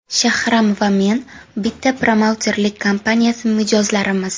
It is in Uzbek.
Shahram va men bitta promouterlik kompaniyasi mijozlarimiz.